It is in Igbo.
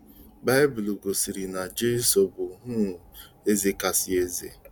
Baịbụl gosiri na Jesu bụ um Eze kasị ézè.